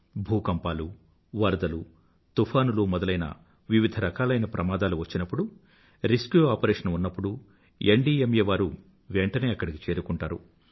భూకంపాలు వరదలు తుఫానులు మొదలైన వివిధరకాలైన ప్రమాదాలు వచ్చినప్పుడు రెస్క్యూ ఆపరేషన్ ఉన్నప్పుడు ఎన్డీఎంఏ వారు వెంtaనే అక్కడికి చేరుకుంటారు